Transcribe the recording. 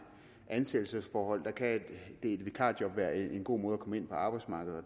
ansættelsesforhold kan et vikarjob være en god måde at komme ind på arbejdsmarkedet